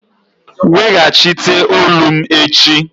Weghachite olu m echi!